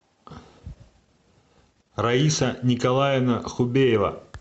раиса николаевна хубеева